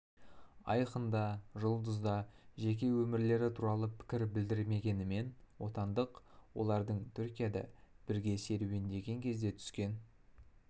айқын да жұлдыз да жеке өмірлері туралы пікір білдірмегенімен отандық олардың түркияда бірге серуендеген кезде түскен